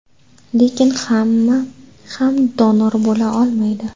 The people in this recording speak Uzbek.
Lekin hamma ham donor bo‘la olmaydi.